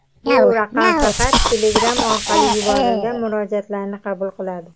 bu raqam faqat Telegram orqali yuborilgan murojaatlarni qabul qiladi.